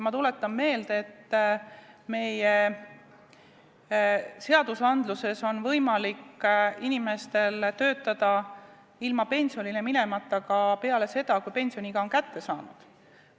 Ma tuletan meelde, et meie seaduste järgi on võimalik inimestel töötada ilma pensionile minemata ka peale seda, kui pensioniiga on kätte jõudnud.